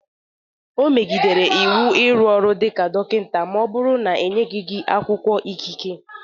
O megidere iwu ịrụ ọrụ dịka dọkịta ma ọ bụrụ na-enyeghị gi akwụkwọ ikike